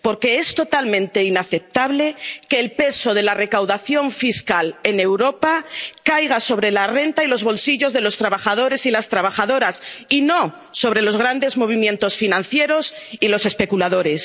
Porque es totalmente inaceptable que el peso de la recaudación fiscal en Europa caiga sobre la renta y los bolsillos de los trabajadores y las trabajadoras, y no sobre los grandes movimientos financieros y los especuladores.